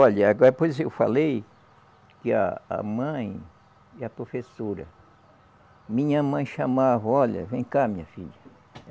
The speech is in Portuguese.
Olha, agora pois eu falei que a a mãe e a professora. Minha mãe chamava, olha, vem cá, minha filha.